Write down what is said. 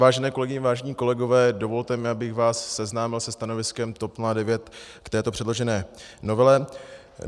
Vážené kolegyně, vážení kolegové, dovolte mi, abych vás seznámil se stanoviskem TOP 09 k této předložené novele.